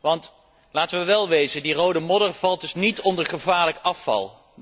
Want, laten we wel wezen, die rode modder valt dus niet onder gevaarlijk afval.